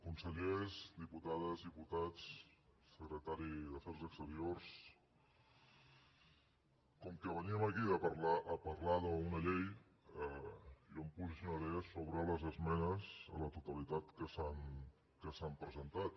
consellers diputades diputats secretari d’afers exteriors com que veníem aquí a parlar d’una llei jo em posicionaré sobre les esmenes a la totalitat que s’han presentat